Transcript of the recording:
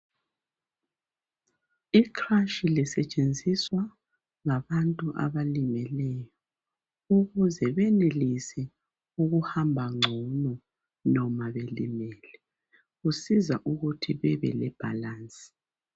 Ikrashi lisetshenziswa ngabantu abalimeleyo ukuze benelise ukuhamba ngcono noma belimele. Kusiza ukuthi bebe le balance.